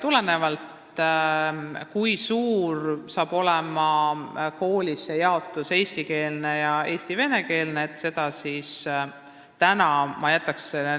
Milline hakkab koolis olema jaotus eestikeelse ning eesti- ja venekeelse õppe vahel, selle jätaks ma täna ütlemata.